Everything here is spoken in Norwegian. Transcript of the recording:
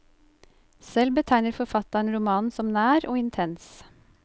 Selv betegner forfatteren romanen som nær og intens.